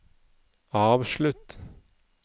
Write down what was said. avslutt